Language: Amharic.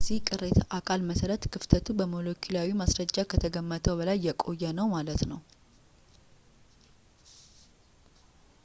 በዚህ ቅሪተ አካል መሰረት ክፍተቱ በሞለኪላዊ ማስረጃ ከተገመተው በላይ የቆየ ነው ማለት ነው